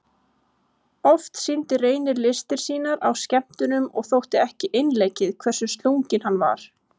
Oft sýndi Reynir listir sínar á skemmtunum og þótti ekki einleikið hversu slunginn hann var.